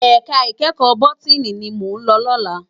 Èká ikèékò bótìní ni mó n lò lòlá